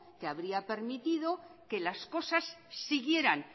que habría permitido que las cosas siguieran